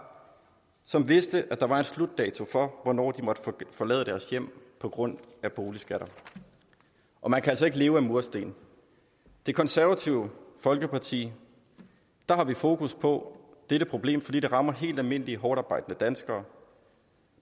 som vidste at der var en slutdato for hvornår de måtte forlade deres hjem på grund af boligskatter og man kan altså ikke leve af mursten i det konservative folkeparti har vi fokus på dette problem fordi det rammer helt almindelige hårdtarbejdende danskere